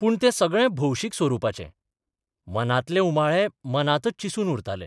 पूण तें सगळे भौशीक स्वरुपाचें, मनांतले उमाळे मनांतच चिसून उरताले.